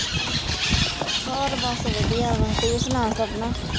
ਹੋਰ ਬੱਸ ਵਧੀਆ ਵਾ ਤੂੰ ਸੁਣਾ ਸਪਨਾ